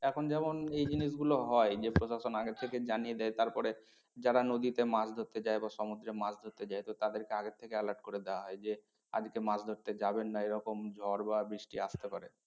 এখন যেমন এই জিনিস গুলো হয় যে প্ৰশাসন আগে থেকে জানিয়ে দেয় তারপরে যারা নদীতে মাছ ধরতে যায় বা সমুদ্রে মাছ ধরতে যায় তো তাদেরকে আগে থেকে alert করে দেওয়া হয় যে আজকে মাছ ধরতে যাবেন না এরকম ঝড় বা বৃষ্টি আসতে পারে।